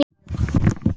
Brynja, Eyrún og Ásdís.